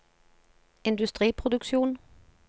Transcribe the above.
industriproduksjon